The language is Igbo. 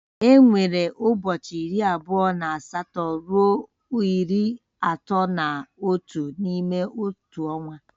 Enwere ụbọchị iri abụọ na asatọ ruo iri atọ na otu n'ime otu ọnwa